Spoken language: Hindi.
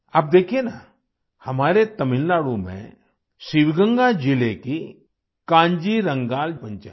अब देखिये न हमारे तमिलनाडु में शिवगंगा जिले की कान्जीरंगाल पंचायत